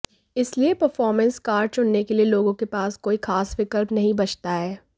इसलिए performance car चुनने के लिए लोगों के पास कोई खास विकल्प नहीं बचता है